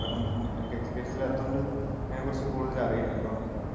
കാരണം എനിക്ക് എക്സ്പീരിയൻസ് ഇല്ലാത്തോണ്ട് അതിനെക്കുറിച്ച് കൂടുതൽ അറിയില്ല അതുകൊണ്ടാണ്